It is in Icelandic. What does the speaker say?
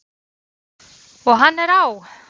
Og hann er á!